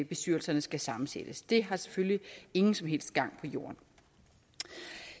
bestyrelserne skal sammensættes det har selvfølgelig ingen som helst gang på jorden